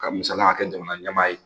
Ka misaliya k'a kɛ jamana ɲɛmaa ye.